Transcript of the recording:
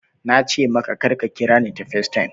Na ce maka kar ka kira ni ta FaceTime!